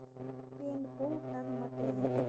пейнтбол в данном отеле